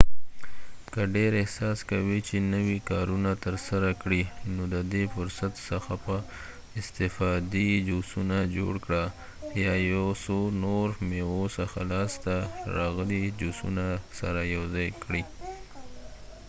که ډیر احساس کوې چې نوي کارونه ترسره کړې نو ددې فرصت څخه په استفادې جوسونه جوړ کړه یا یو څو نور د میوو څخه لاسته راغلي جوسونه سره یوځای کړئ